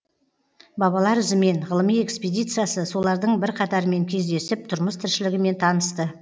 бабалар ізімен ғылыми экспедициясы солардың бірқатарымен кездесіп тұрмыс тіршілігімен танысты